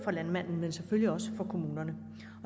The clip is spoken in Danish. for landmanden men selvfølgelig også for kommunerne og